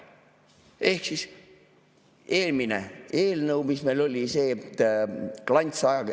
Ehk eelmine eelnõu, mis meil oli, et klants ...